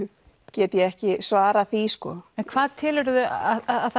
get ég ekki svarað því sko en hvað telurðu að